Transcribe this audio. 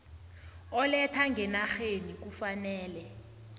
oletha ngenarheni kufanele